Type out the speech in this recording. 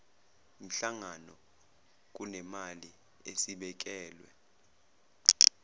mihlangano kunemali esibekelwe